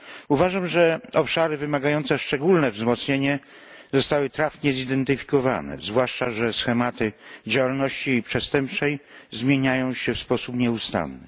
Uważam, że obszary wymagające szczególnego wzmocnienia zostały trafnie zidentyfikowane, zwłaszcza że schematy działalności przestępczej zmieniają się w sposób nieustanny.